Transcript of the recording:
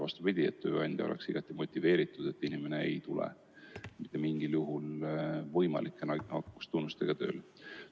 Vastupidi, tööandja peaks olema igati motiveeritud tagama, et inimene ei tule mitte mingil juhul nakkustunnustega tööle.